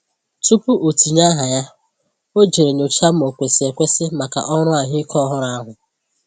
Tupu o tinye aha ya, ọ jèrè nyochaa ma ò kwesị ekwesi maka ọrụ ahụike ọhụrụ ahụ.